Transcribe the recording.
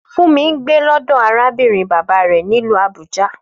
Fúnmi ń gbé lọ́dọ̀ arábìnrin bàbá rẹ̀ nílùú Abuja